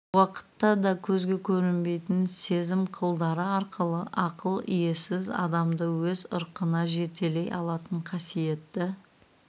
уақытта да көзге көрінбейтін сезім қылдары арқылы ақыл иесіз адамды өз ырқына жетелей алатын қасиетті